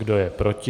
Kdo je proti?